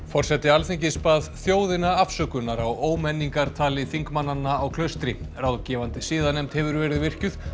forseti Alþingis bað þjóðina afsökunar á þingmannanna á Klaustri ráðgefandi siðanefnd hefur verið virkjuð